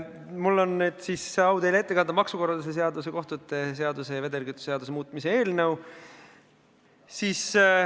Mul on au teile ette kanda maksukorralduse seaduse, kohtute seaduse ja vedelkütuse seaduse muutmise seaduse eelnõu.